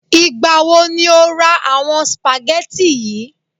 Ìgbà wo ni o ra àwọn spaghetti yi?